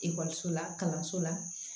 Ekɔliso la kalanso la